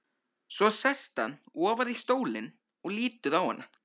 Svo sest hann ofar í stólinn og lítur á hana.